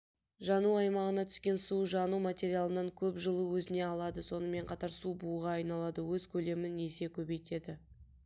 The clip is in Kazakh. жану аймағына түскен су жану материалынан көп жылу өзіне алады сонымен қатар су буға айналады өз көлемін есе көбейтеді